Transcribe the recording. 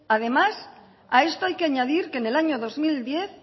además a esto hay que añadir que en el año dos mil diez